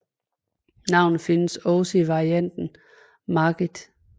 Navnet findes også i varianten Margith